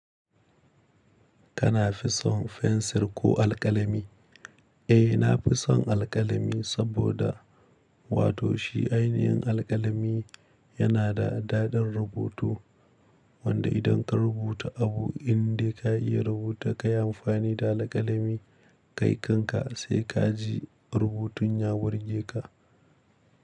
Kana fison fensir ko alƙalami? Eh na fison alƙalami saboda wato shi ainihin alƙalami yana da daɗin rubutu wanda idan ka rubuta abu indai ka iya rubuta ka yi amfani da alƙalami kai kanka sai ka ji rubutun ya burge ka.